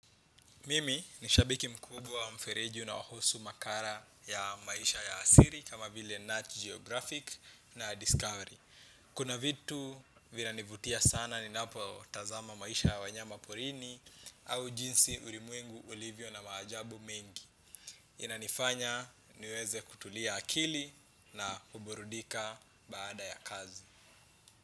Mimi nishabiki mkubwa wa mfereji unaohusu makala ya maisha ya asili kama vile Nat Geographic na Discovery. Kuna vitu vina nivutia sana ni napo tazama maisha ya wanyama porini au jinsi ulimwengu ulivyo na maajabu mengi. Inanifanya niweze kutulia akili na kuburudika baada ya kazi.